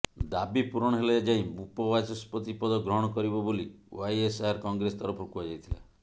ଦାବି ପୂରଣ ହେଲେ ଯାଇ ଉପବାଚସ୍ପତି ପଦ ଗ୍ରହଣ କରିବ ବୋଲି ୱାଇଏସ୍ଆର କଂଗ୍ରେସ ତରଫରୁ କୁହାଯାଇଥିଲା